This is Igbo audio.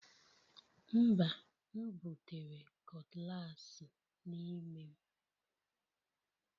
Mba, m butere cutlass n'ime m